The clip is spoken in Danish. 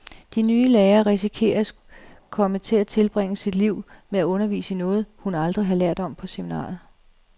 De nye lærer risikerer at komme til at tilbringe sit liv med at undervise i noget, hun aldrig har lært om på seminariet.